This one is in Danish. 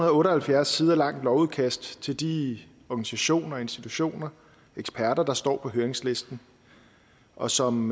og otte og halvfjerds sider langt lovudkast til de organisationer institutioner og eksperter der står på høringslisten og som